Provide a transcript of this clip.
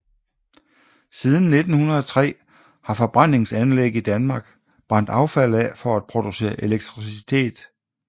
Siden 1903 har forbrændingsanlæg i Danmark brændt affald af for at producere elektricitet